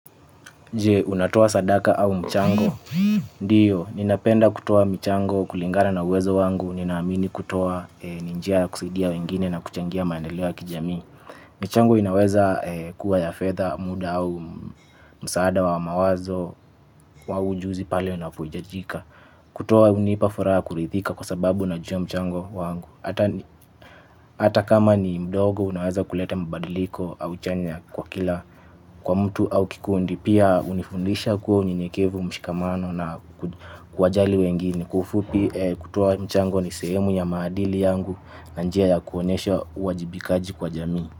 Jee, unatoa sadaka au mchango. Ndiyo, ninapenda kutoa mchango kulingana na uwezo wangu, ninaamini kutoa ni njia ya kusaidia wengine na kuchangia maendeleo ya kijami. Michango inaweza kuwa ya fedha muda au msaada wa mawazo wa ujuzi pale unapoitajika. Kutoa hunipafuraha kuridhika kwa sababu najua mchango wangu. Hata kama ni mdogo unaweza kuleta mabadiliko au chanya kwa kila kwa mtu au kikundi. Pia hunifundisha kuwa unyenyekevu mshikamano na kuwa jali wengine. Kwa ufupi kutoa mchango ni sehemu ya maadili yangu na njia ya kuonesha uwajibikaji kwa jamii.